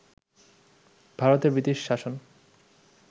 ভারতে ব্রিটিশ শাসন